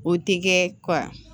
O tɛ kɛ kɔ